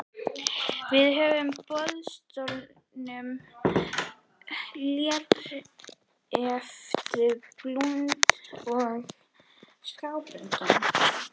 Við höfum á boðstólum léreftsblúndur og skábönd.